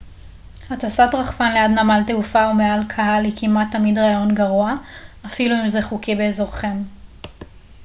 הטסת רחפן ליד נמל תעופה או מעל קהל היא כמעט תמיד רעיון גרוע אפילו אם זה חוקי באזורכם